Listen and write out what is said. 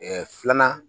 filanan